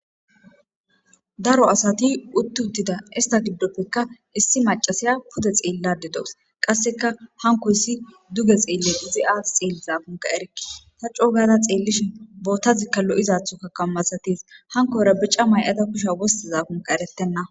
Daro asati utti uttida ista giddoppekka issi macasiya pute xeellade doos qasseka hanko issi duge xeelle izi aat xeelli zaakunka ereki ta coogada xeellishi boottazikka lo'izathokka kammasatis hanko era bica may'ata kusha wosti zaakunka eretenna.